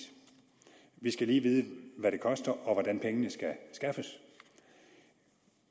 vi skal lige vide hvad det koster og hvordan pengene skal skaffes